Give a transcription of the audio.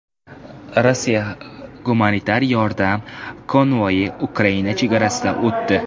Rossiya gumanitar yordam konvoyi Ukraina chegarasidan o‘tdi.